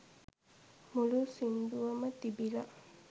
මුලු සින්දුවම තිබිල